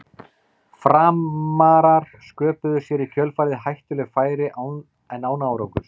Framarar sköpuðu sér í kjölfarið hættuleg færi en án árangurs.